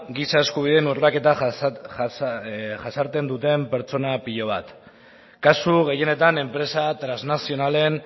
giza eskubideen urraketa jasaten dituzten pertsona pilo bat kasu gehienetan enpresa trasnazionalek